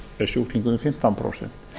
en sjúklingurinn fimmtán prósent